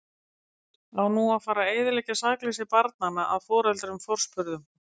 Á nú að fara eyðileggja sakleysi barnanna að foreldrum forspurðum?